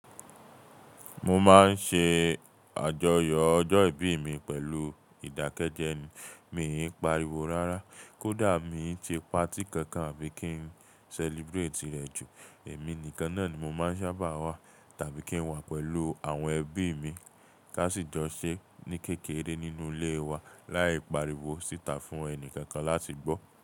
Mo máa ń ṣe àjọyọ̀ ọjọ́ ìbí mi pẹ̀lú ìdákẹ́jẹ́ mi. Mi ò ń pariwo rárá, kódà mi ń ṣe party kankan àbí kí n celebrate rẹ̀ jù, èmi nìkan náà ni mo máa ń sábà wà tàbí kí n wà pẹ̀lú àwọn ẹbí mi. Ká sì jọ ṣé ní kékeré nínú ilé wa láì pariwo sí tà fún ẹni kankan láti gbọ́.